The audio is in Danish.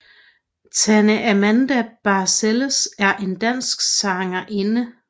Tanne Amanda Balcells er en dansk sangerinde